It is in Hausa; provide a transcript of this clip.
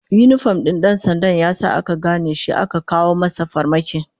Yinifom din dan sandan ya sa aka gane shi aka kawo masa farmaki